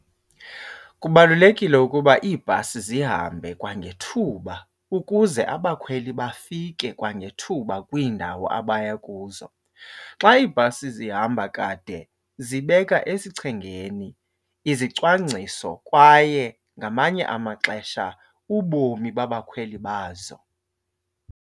Kubalulekile ukuba iibhasi zihambe kwangethuba ukuze abakhweli bafike kwangethuba kwiindawo abaya kuzo. Xa iibhasi zihamba kade zibeka esichengeni izicwangciso kwaye ngamanye amaxesha ubomi babakhweli bazo.